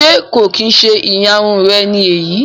Ṣe ko kin ṣe ìyárún rẹ ni eyii?